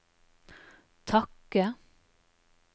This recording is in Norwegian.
takke